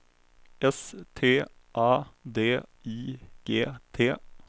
S T A D I G T